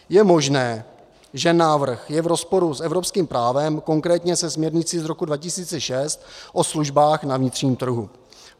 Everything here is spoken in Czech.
Je možné, že návrh je v rozporu s evropským právem, konkrétně se směrnicí z roku 2006 o službách na vnitřním trhu.